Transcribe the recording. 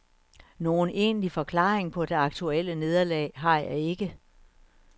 Nogen egentlig forklaring på det aktuelle nederlag har jeg ikke.